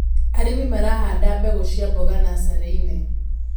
Arĩmi marahanda mbegũ cia mboga nasarĩinĩ.